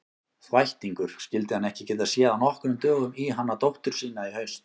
Þvættingur, skyldi hann ekki geta séð af nokkrum dögum í hana dóttur sína í haust.